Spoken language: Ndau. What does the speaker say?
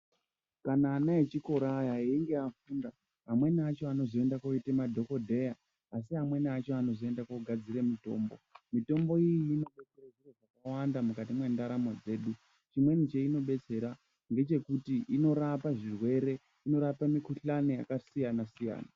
Kana vana vechikora ava veinge vafunda vamweni vacho Vanozoenda koite madhokodheya asi amweni acho anozoenda kogadzira mitombo mitombo iyo inoshanda mukati mendaramo yedu chimweni chainodetsera ngechekuti inorapa zvirwere inorapa mikuhlani yakasiyana-siyana.